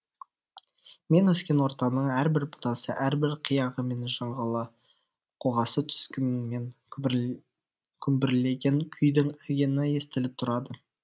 мен өскен ортаның әрбір бұтасы әрбір қияғы мен жыңғылы қоғасы түзгінімен күмбірлеген күйдің әуені естіліп турады